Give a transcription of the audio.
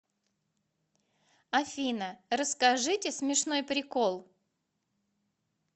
афина расскажите смешной прикол